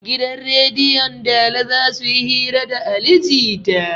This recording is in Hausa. Gidan rediyon dala zasuyi hira da ali jita